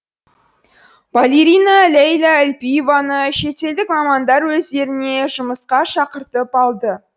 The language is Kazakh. балерина лейла әлпиеваны шетелдік мамандар өздеріне жұмысқа шақыртып алды